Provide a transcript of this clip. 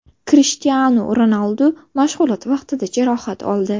Krishtianu Ronaldu mashg‘ulot vaqtida jarohat oldi.